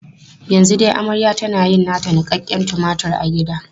Yanzu dai maryam tana yin nata niƙaƙƙen tumatur a gida.